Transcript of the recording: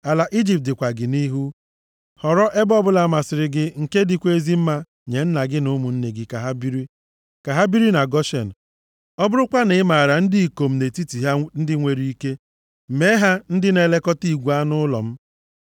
Ala Ijipt dịkwa gị nʼihu. Họrọ ebe ọbụla masịrị gị nke dịkwa ezi mma nye nna gị na ụmụnne gị ka ha biri. Ka ha biri na Goshen. Ọ bụrụkwa na ị maara ndị ikom nʼetiti ha ndị nwere ike, mee ha ndị na-elekọta igwe anụ ụlọ m.”